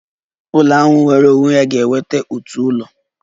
Ụlọ ahụ nwere onwe ya ga-enwe otu ụlọ